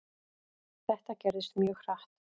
Þetta gerðist mjög hratt.